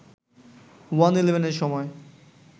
ওয়ান-ইলেভেনের সময়